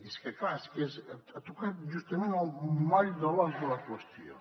és que clar és que ha tocat justament el moll de l’os de la qüestió